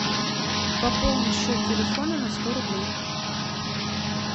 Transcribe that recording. пополни счет телефона на сто рублей